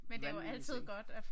Vanvittige ting